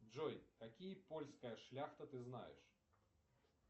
джой какие польская шляхта ты знаешь